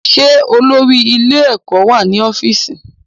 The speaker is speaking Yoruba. Ṣé olórí ilé-ẹ̀kọ́ wà ní ọ́fíìsì?